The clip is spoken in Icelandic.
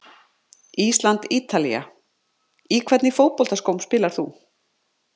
ísland- ítalía Í hvernig fótboltaskóm spilar þú?